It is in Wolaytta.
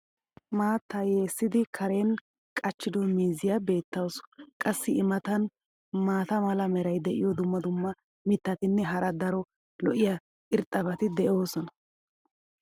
maattaa yeessidi karen qachchido miizziya beetawusu. qassi i matan maata mala meray diyo dumma dumma mitatinne hara daro lo'iya irxxabati beetoosona.